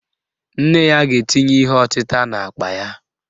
Nne ya ga-etinye ihe ọtịta n'akpa ya